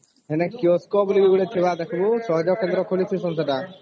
ଏଣେ କିଓସ୍କୋ ବୋଲି ଗୋଟେ ଥିଲା ଦେଖିବୁ ସହଜ କେନ୍ଦ୍ର ଖୋଲିଚି ସେଗାଟିଏ